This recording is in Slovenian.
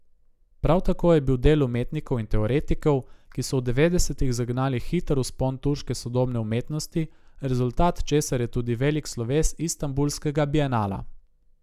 Prav tako je bil del umetnikov in teoretikov, ki so v devetdesetih zagnali hiter vzpon turške sodobne umetnosti, rezultat česar je tudi velik sloves Istanbulskega bienala.